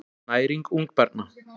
Næring ungbarna.